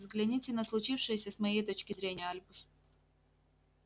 взгляните на случившееся с моей точки зрения альбус